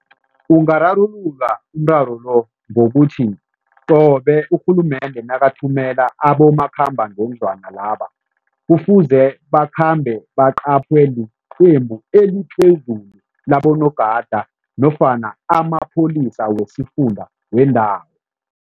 Ungararululwa umraro lo ngokuthi qobe urhulumende nakathumela abomakhambangendlwana laba, kufuze bakhambe liqembu eliphezulu labonogada nofana amapholisa wesifunda wendawo.